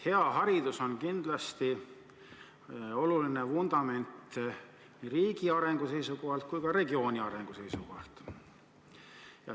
Hea haridus on kindlasti oluline vundament nii riigi arengu seisukohalt kui ka regiooni arengu seisukohalt.